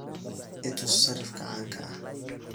i tus sarifka caanka ah